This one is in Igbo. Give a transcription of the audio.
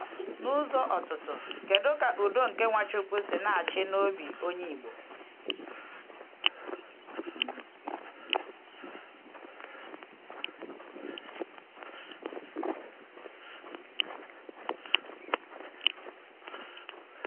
N’ụzọ ọ̀tụ̀tù, kedu ka ‘udo nke Nwachukwu’ si na-achị n’obi onye Igbo?